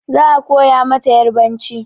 Za a koya mata yarbanci.